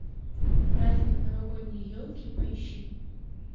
праздник новогодние елки поищи